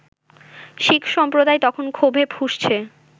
শিখ সম্প্রদায় তখন ক্ষোভে ফুঁসছে